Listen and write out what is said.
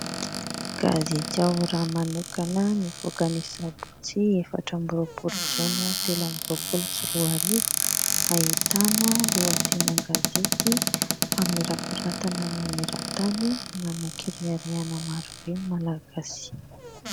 Gazety Ao Raha manokana nivoaka ny Sabotsy efatra ambiroapolo Jona telo ambiroapolo sy roa arivo, ahitana lohateny an-gazety: "famirapiratana maneran-tany: manan-kireharehana marobe ny Malagasy".